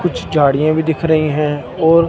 कुछ झाड़ियां भी दिख रही हैं और--